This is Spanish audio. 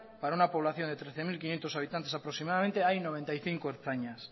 para una población de trece mil quinientos habitantes aproximadamente hay noventa y cinco ertzainas